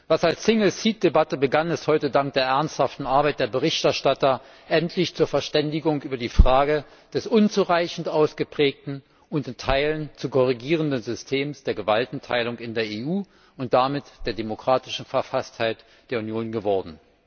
Was als Single Seat Debatte begann, ist heute dank der ernsthaften Arbeit der Berichterstatter endlich zur Verständigung über die Frage des unzureichend ausgeprägten und in Teilen zu korrigierenden Systems der Gewaltenteilung in der EU und damit der demokratischen Verfasstheit der Union geworden.